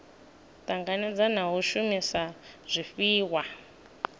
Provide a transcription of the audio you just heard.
tanganedza na u shumisa zwifhiwa